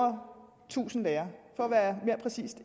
tusind lærere for at være mere præcis